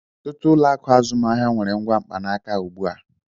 Ọtụtụ ụlọ akụ azụmaahịa nwere ngwa mkpanaka ugbu a.